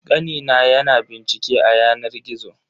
Kani na ya na bincike a yanar gizo.